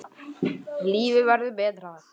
Lífið verður betra